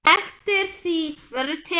Eftir því verður tekið.